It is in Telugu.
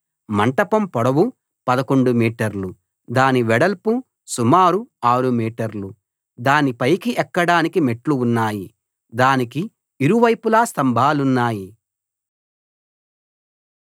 మంటపం పొడవు 11 మీటర్లు దాని వెడల్పు సుమారు 6 మీటర్లు దాని పైకి ఎక్కడానికి మెట్లు ఉన్నాయి దానికి ఇరువైపులా స్తంభాలున్నాయి